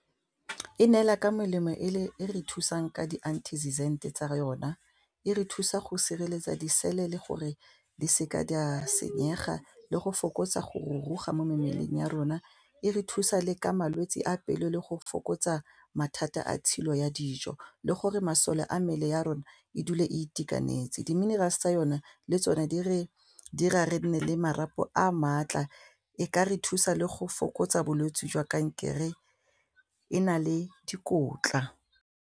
E neela ka melemo e re thusang ka tsa yona e re thusa go sireletsa di-cell le gore di seka di a senyega le go fokotsa go ruruga mo mebeleng ya rona, e re thusa le ka malwetse a pelo le go fokotsa mathata a tshilo ya dijo le gore masole a mmele ya rona e dule e itekanetse, di-minerals tsa yone le tsone dira re nne le marapo a maatla e ka re thusa le go fokotsa bolwetsi jwa kankere e na le dikotla.